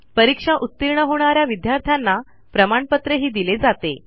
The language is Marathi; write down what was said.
परीक्षा उतीर्ण होणा या विद्यार्थ्यांना प्रमाणपत्रही दिले जाते